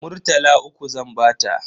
Murtala uku zan bata.